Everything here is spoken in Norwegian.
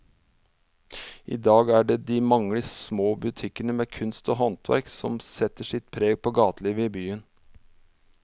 I dag er det de mange små butikkene med kunst og håndverk som setter sitt preg på gatelivet i byen.